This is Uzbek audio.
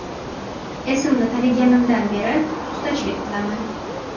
Esimni taniganimdan beri ustachilik qilaman.